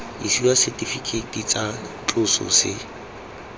isiwa setifikeiti tsa tloso se